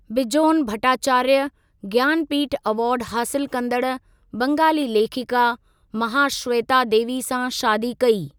Bijon Bhattacharya Jnanpith award हासिलु कंदड़ु बंगाली लेखिका महाश्वेता देवी सां शादी कई।